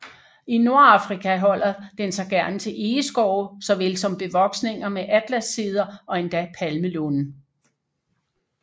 I Nordafrika holder den sig gerne til egeskove såvel som bevoksninger med atlasceder og endda palmelunde